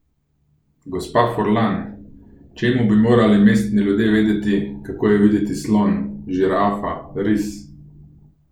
Gospa Furlan, čemu bi morali mestni ljudje vedeti, kako je videti slon, žirafa, ris?